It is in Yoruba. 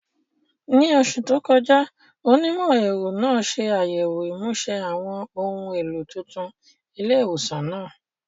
Ní oṣù tó kọjá, onímọ̀-ẹ̀rọ náà ṣe àyẹ̀wò ìmúṣe àwọn ohun èlò tuntun ilé ìwòsàn náà.